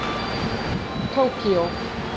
Tókíó